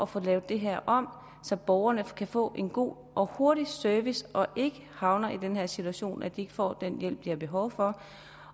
få lavet det her om så borgerne kan få en god og hurtig service og ikke havner i den her situation hvor de ikke får den hjælp de har behov for